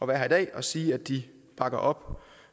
være her i dag og sige at de bakker op